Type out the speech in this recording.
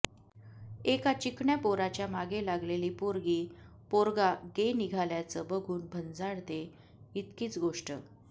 एका चिकण्या पोराच्या मागे लागलेली पोरगी पोरगा गे निघाल्याचं बघून भंजाळते इतकीच गोष्ट